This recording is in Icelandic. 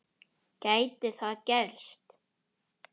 Gæti það gerst?